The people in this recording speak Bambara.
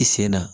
I sen na